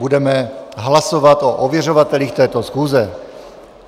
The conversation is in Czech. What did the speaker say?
Budeme hlasovat o ověřovatelích této schůze.